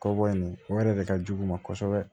Kɔbɔ in o yɛrɛ de ka jugu u ma kosɛbɛ